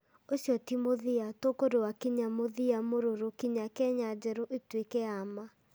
Ũcio ti mũthia; tũkũrũa kinya mũthia mũrũrũ kinya Kenya njerũ ĩtuĩke ya ma.